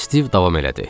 Stiv davam elədi.